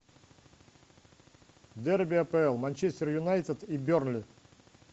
дерби апл манчестер юнайтед и бернли